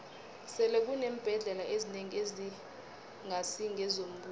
sele kuneembhendlela ezinengi ezingasi ngezombuso